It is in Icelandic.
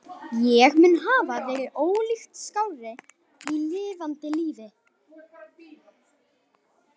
Ég mun hafa verið ólíkt skárri í lifanda lífi.